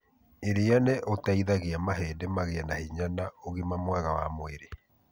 Irĩa nĩ ũteithagia mahĩndĩ magĩe na hinya na ũgima mwega wa mwĩrĩ.